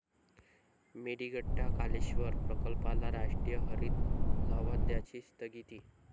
मेडीगट्टा कालेश्वर प्रकल्पाला राष्ट्रीय हरित लवाद्याची स्थगिती